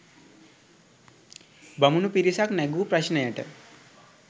බමුණු පිරිසක් නැඟූ ප්‍රශ්නයට